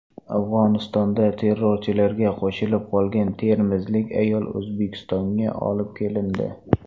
Afg‘onistonda terrorchilarga qo‘shilib qolgan termizlik ayol O‘zbekistonga olib kelindi .